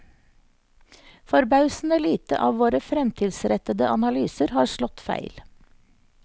Forbausende lite av våre fremtidsrettede analyser har slått feil.